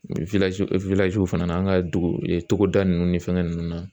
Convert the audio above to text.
fana n'an ka duguda ninnu ni fɛngɛ ninnu na